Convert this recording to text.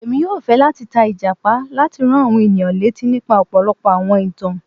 Èmi yóò fẹ lati ta Ìjàpá láti rán àwọn ènìyàn létí nípa ọpọlọpọ àwọn ìtàn.